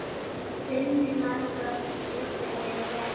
Sinni margoft skipt ég hefi.